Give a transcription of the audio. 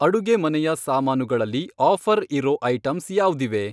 ಅಡುಗೆಮನೆಯ ಸಾಮಾನು ಗಳಲ್ಲಿ ಆಫ಼ರ್ ಇರೋ ಐಟಂಸ್ ಯಾವ್ದಿವೆ?